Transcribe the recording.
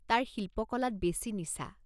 তাৰ শিল্পকলাত বেছি নিচা।